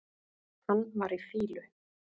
Hann var í fýlu.